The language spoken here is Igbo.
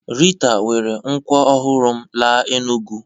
Rita were nkwọ ọhụrụ m laa Enugwu